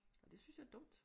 Og det synes jeg er dumt